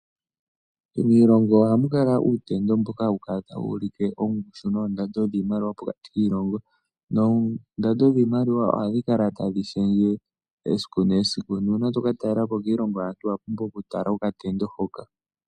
Miilongo ohamu kala uutendo mboka hawu kala tawu ulike ongushu noondando dhiimaliwa pokati kiilongo noondando dhiimaliwa ohadhi kala tadhi shendje esiku nesiku. Nuuna to ka talela po kiilongo yaantu owa pumbwa okutala okatendo hoka.